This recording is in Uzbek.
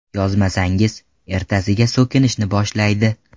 Yozmasangiz, ertasiga so‘kishni boshlaydi.